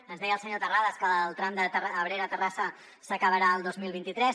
ens deia el senyor terrades que el tram abrera terrassa s’acabarà el dos mil vint tres